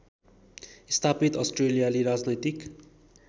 स्थापित अस्ट्रेलियाली राजनैतिक